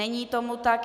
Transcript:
Není tomu tak.